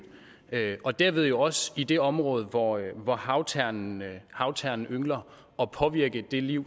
og dermed jo også i det område hvor hvor havternen havternen yngler og påvirke det liv